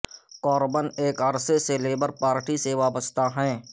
Corbin ایک عرصے سے لیبر پارٹی سے وابستہ ہیں